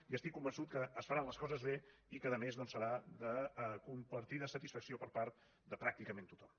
i estic convençut que es faran les coses bé i que a més doncs serà de compartida satisfacció per part de pràcticament tothom